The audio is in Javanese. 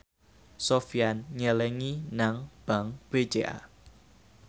Sofyan nyelengi nang bank BCA